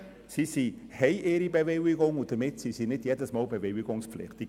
Die Verkehrskadetten haben ihre Bewilligung, und somit sind sie nicht jedes Mal bewilligungspflichtig.